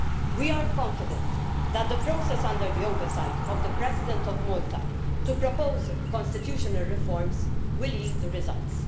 We are confident that the process under the oversight of the President of Malta to propose constitutional reforms will yield results.